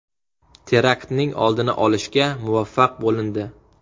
Teraktning oldini olishga muvaffaq bo‘lindi.